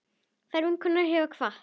Kær vinkona hefur kvatt.